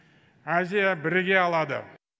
азия біріге алады